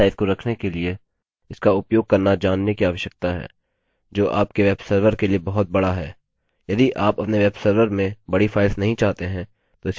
यह सब आपको विशिष्ट फाइल टाइप्स और फाइल साइज को रखने के लिए इसका उपयोग करना जानने की आवश्यकता है जो आपके वेबसर्वर के लिए बहुत बड़ा है